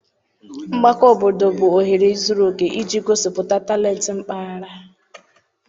Mgbakọ obodo bụ ohere zuru oke iji gosipụta talent mpaghara.